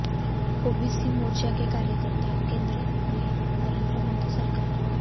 OBC मोर्चा के कार्यकर्ता केंद्र में नरेंद्र मोदी सरकार